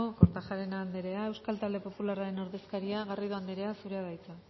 kortajarena andrea euskal talde popularraren ordezkaria garrido andrea zurea da hitza